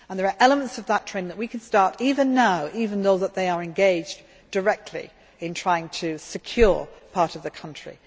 in. There are elements of that training which we can start even now, even though they are engaged directly in trying to secure part of the country.